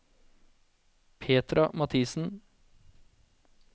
Petra Mathisen